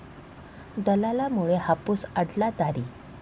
दलालांमुळे हापूस अडला दारी!